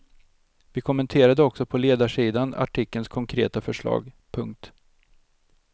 Vi kommenterade också på ledarsidan artikelns konkreta förslag. punkt